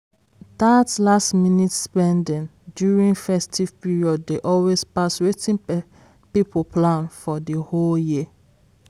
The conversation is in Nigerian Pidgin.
that last-minute spending during festive period dey always pass wetin people plan for the whole year.